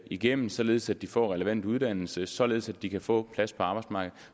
igennem således at de får relevant uddannelse således at de kan få plads på arbejdsmarkedet